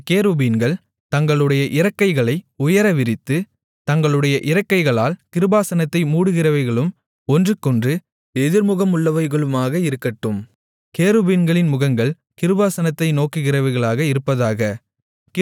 அந்தக் கேருபீன்கள் தங்களுடைய இறக்கைகளை உயர விரித்து தங்களுடைய இறக்கைகளால் கிருபாசனத்தை மூடுகிறவைகளும் ஒன்றுக்கொன்று எதிர்முகமுள்ளவைகளுமாக இருக்கட்டும் கேருபீன்களின் முகங்கள் கிருபாசனத்தை நோக்குகிறவைகளாக இருப்பதாக